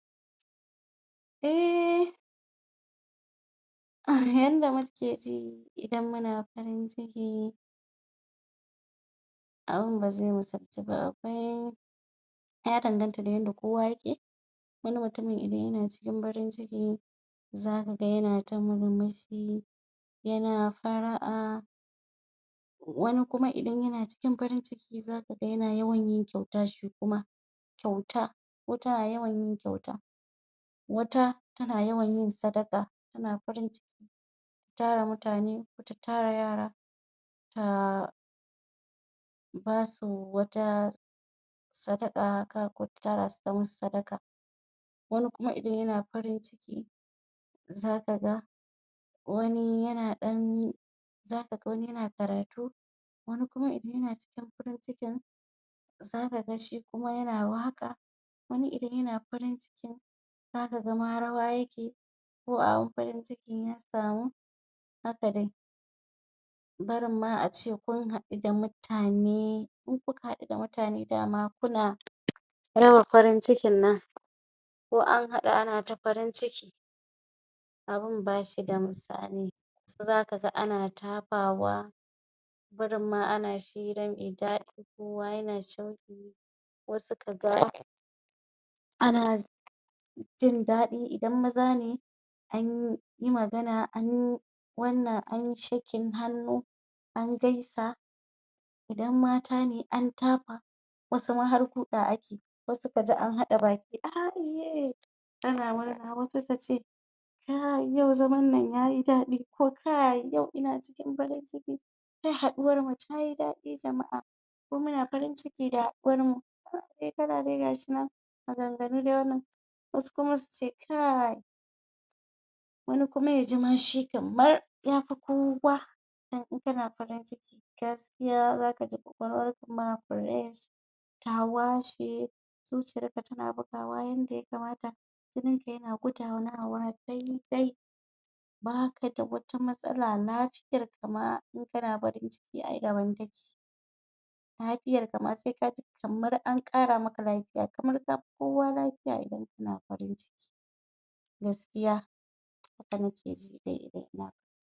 A um yanda mukeji idan muna farin ciki abun bazai musaltuba akwai ya danganta da yanda kowa yake wani mutumin idan yana cikin farin ciki zaka ga yana ta murmushi yana far'a wani kuma idan yana cikin farin ciki zaka ga yana yawan yin kyauta shi kuma kyauta ko tana yawanyin kyauta wata tana yawanyin sadaka tana farin cikin tara mutane tara yara ta basu wata sadaka haka ko ta tarasu ta musu sadaka wani kuma idan yana cikin farin ciki zaka ga wani yana ɗan za kaga wani yana karatu wani kuma idan yana cikin farin ciki zaka ga shi kuma yana waƙa wani idan yana cikin farin cikin zaka ga ma rawa yake ko abin farin ciki ya samu haka dai barinma ace kun haɗu da mutane in kuka haɗu da mutane dama kuna raba farin cikin nan ko anhaɗu anata farin ciki abun bashida misali zaka ga ana tafawa barin ma ana hira me daɗi kowa yana ko suka ga ana jindaɗi idan mazane anyi magana anyi wannan anyi shaking hannu angaisa idan matane antafa wasu ma har guɗa ake wasu kaji anhaɗa baki aiye ana murna wata tace a yau zaman nan yayi daɗi ko kai yau ina cikin farin ciki yau haɗuwarmu tayi daɗi jama'a ko muna farin cikin haɗuwarmu abubuwa dai gashinan maganganu dai maganganu wasu kuma su ce kai wani shi kuma yaji kamar yafi kowa dan in kana farin ciki gaskiya zakaji kwakwalwarka ma fresh ta washe zuciyarka tana bugawa yanda ta kamata jininka yana gudanawa daidai baka da wata matsala lafiya lafiyarka ma intana farin ciki ae daban take lafiyarka ma kamar anƙara maka lafiya kamar kafi kowa lafiya in kana farin ciki gaskiya gaskiya haka nake ji dai idan ina farin ciki